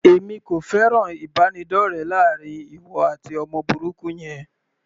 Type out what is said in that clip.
Èmi kò fẹ́ràn ìbánidọ́rẹ láàrin ìwọ àti ọmọ burúkú yẹn.